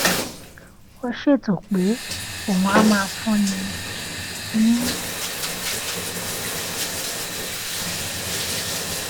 ó ṣètò pé òun á máa fúnni ní